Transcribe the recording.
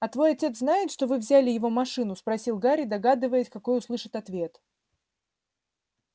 а твой отец знает что вы взяли его машину спросил гарри догадываясь какой услышит ответ